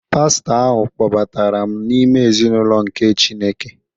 Pastọ ahụ kpọbatara m n’ime ezinụlọ nke Chineke